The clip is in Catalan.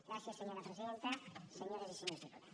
gràcies senyora presidenta senyores i senyors diputats